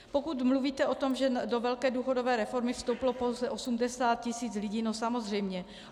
Pokud mluvíte o tom, že do velké důchodové reformy vstoupilo pouze 80 tisíc lidí, no samozřejmě.